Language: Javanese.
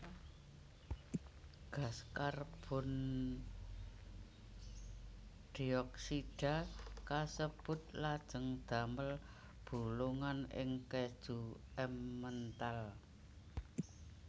Gas karbondioksida kasebut lajeng damel bolongan ing kèju Emmental